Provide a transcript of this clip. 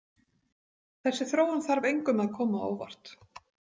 Þessi þróun þarf engum að koma á óvart.